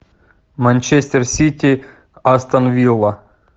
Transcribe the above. манчестер сити астон вилла